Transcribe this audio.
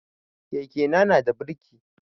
Keke na nada birki